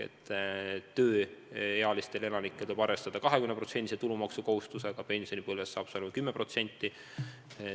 Tööealistel elanikel tuleb arvestada 20% tulumaksu kohustusega, pensionipõlves on see tulumaks 10%.